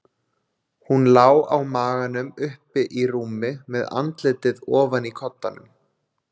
Hún lá á maganum uppi í rúmi, með andlitið ofan í koddanum.